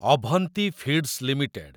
Avanti feeds limited